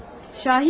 Şahid mi?